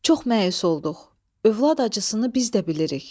Çox məyus olduq, övlad acısını biz də bilirik.